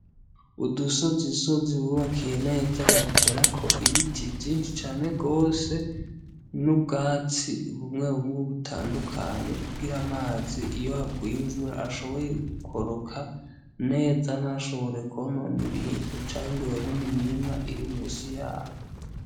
Udusozisozi bubakiye neza, baduterako ibiti vyinshi cane gose n'ubwatsi bumwe bumwe butandukanye, kugira amazi iyo haguye imvura ashobore gukoroka neza ntashobore kwonona ibintu canke ngo yonone imirima iri musi yaho.